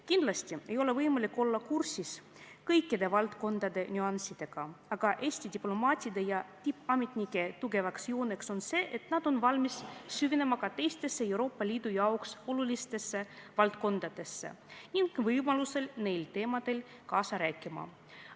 Kindlasti ei ole võimalik olla kursis kõikide valdkondade nüanssidega, aga Eesti diplomaatide ja tippametnike tugevaks jooneks on see, et nad on valmis süvenema ka teistesse Euroopa Liidu jaoks olulistesse valdkondadesse ning võimaluse korral neil teemadel kaasa rääkima.